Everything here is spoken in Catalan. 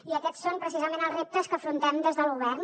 i aquests són precisament els reptes que afrontem des del govern